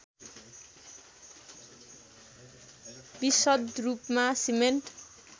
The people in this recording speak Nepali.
विशद रूपमा सिमेन्ट